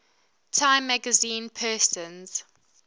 time magazine persons